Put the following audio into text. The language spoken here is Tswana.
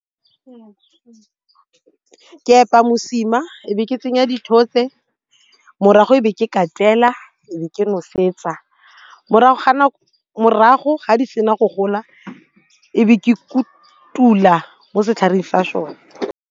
Ke epa mosima e be ke tsenya dithotse morago e be ke ka e be ke nosetsa morago ga di sena go gola e be ke kotula mo setlhareng sa sone.